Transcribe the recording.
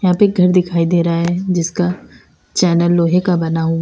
यहां पे एक घर दिखाई दे रहा है जिसका चैनल लोहे का बना हुआ--